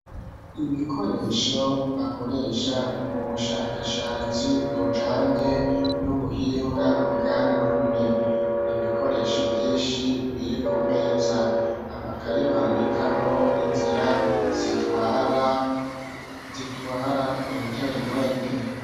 Ibikoresho bakoresha mu bushakashatsi bujanye n'ubuhinga bwa none nibikoresho vyinshi biri ku meza amakaye bandikamwo inzira zitwara interinete.